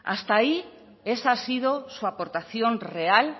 hasta ahí esa ha sido su aportación real